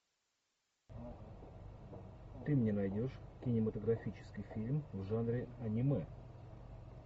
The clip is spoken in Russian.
ты мне найдешь кинематографический фильм в жанре аниме